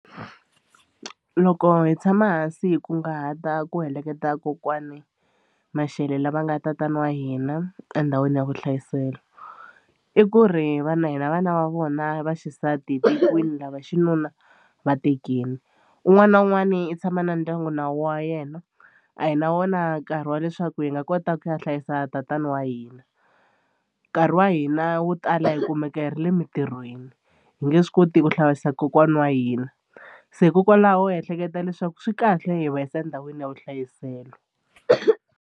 Loko hi tshama hansi hi kunguhata ku heleketa kokwani Mashele lava nga tatana wa hina endhawini ya vuhlayiselo i ku ri vana hina vana va vona va xisati hi tekiwini lava xinuna va tekile. Un'wana na un'wana i tshama na ndyangu na wu wa yena a hi na wona nkarhi wa leswaku hi nga kota ku ya hlayisa tatana wa hina nkarhi wa hina wo tala hi kumeka hi ra le mitirhweni hi nge swi koti ku hlayisa kokwana wa hina se hikokwalaho hi ehleketa leswaku swi kahle hi va yisa endhawini ya vuhlayiselo.